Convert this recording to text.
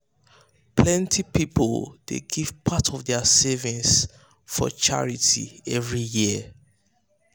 plenty people dey give part of their savings for their savings for charity every year.